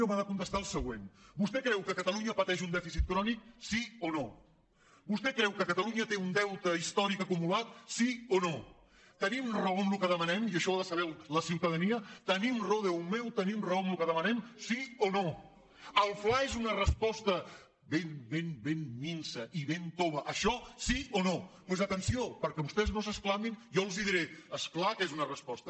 m’ha de contestar el següent vostè creu que catalunya pateix un dèficit crònic sí o no vostè creu que catalunya té un deute històric acumu·lat sí o no tenim raó en el que demanem i això ho ha de saber la ciutadania tenim raó déu meu tenim raó en el que demanem si o no el fla és una res·posta ben ben ben minsa i ben tova això sí o no doncs atenció perquè vostès no s’ex·clamin jo els diré és clar que és una resposta